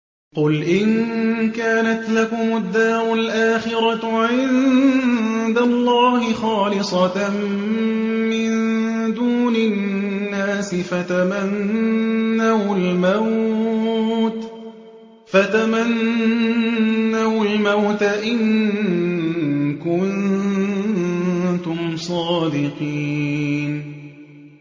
قُلْ إِن كَانَتْ لَكُمُ الدَّارُ الْآخِرَةُ عِندَ اللَّهِ خَالِصَةً مِّن دُونِ النَّاسِ فَتَمَنَّوُا الْمَوْتَ إِن كُنتُمْ صَادِقِينَ